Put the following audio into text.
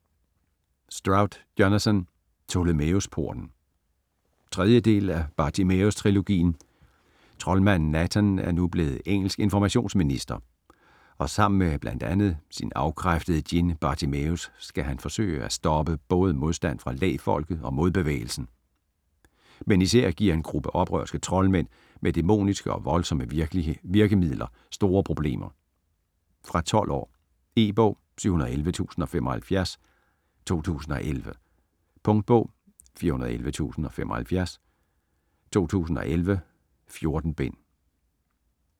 Stroud, Jonathan: Ptolemæus Porten 3. del af Bartimæus trilogien. Troldmanden Nathan er nu blevet engelsk informationsminister og sammen med bl.a. sin afkræftede djinn Bartimæus skal han forsøge at stoppe både modstand fra Lægfolket og Modbevægelsen, men især giver en gruppe oprørske troldmænd med dæmoniske og voldsomme virkemidler store problemer. Fra 12 år. E-bog 711075 2011. Punktbog 411075 2011. 14 bind.